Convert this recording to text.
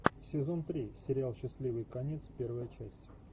сезон три сериал счастливый конец первая часть